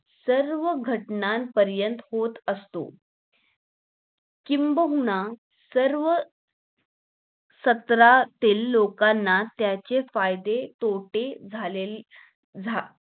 सर्व घटना पर्यंत होत असतो किंबहुना सर्व सातारातील लोकांना त्यांचे फायदे तोटे झालेले झा